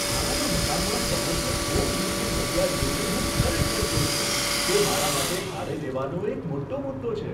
ભાડાના મકાનમાં સમર્પિત હોમ જિમની જગ્યા જોઈને હું ખરેખર ખુશ છું, તે મારા માટે ભાડે લેવાનો એક મોટો મુદ્દો છે.